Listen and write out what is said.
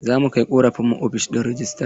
Za mu kai ƙorafin mu ofishin rejistra.